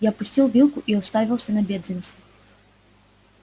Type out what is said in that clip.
я опустил вилку и уставился на бедренца